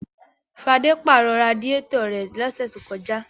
Fadé pàrọ̀ radiátọ̀ rẹ̀ lọ́sẹ̀ tó kọjá.